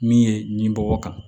Min ye nin bɔ kan